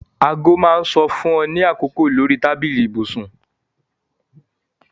Aago máa ń sọ fún ọ ní àkókò lórí tábìlì ibùsùn